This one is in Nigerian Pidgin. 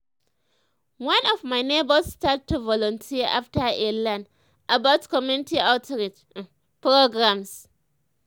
one of my neighbors start to volunteer after e learn about community outreach um programs.